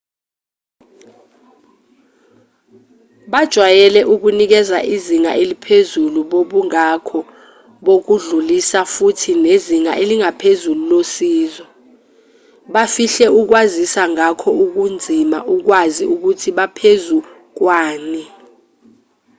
bajwayele ukunikeza izinga eliphezulu bobungakho bokudlulisa futhi nezinga eliphezulu losizo bafihle ukwaziswa ngakho kunzima ukwazi ukuthi baphezu kwani